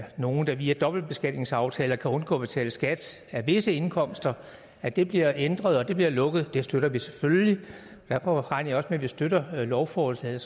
nogle der via dobbeltbeskatningsaftaler kan undgå at betale skat af visse indkomster at det bliver ændret og det bliver lukket støtter vi selvfølgelig derfor regner jeg også med at vi støtter lovforslaget